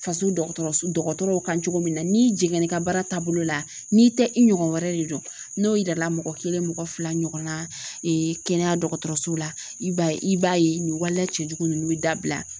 Faso dɔgɔtɔrɔsow kan cogo min na n'i jiginna i ka baara taabolo la n'i tɛ i ɲɔgɔn wɛrɛ de don n'o yira la mɔgɔ kelen mɔgɔ fila ɲɔgɔnna kɛnɛya dɔgɔtɔrɔso la i b'a ye i b'a ye nin waleya cɛjugu ninnu bɛ dabila